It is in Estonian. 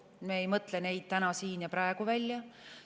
Me ei mõtle neid täna siin ja praegu välja.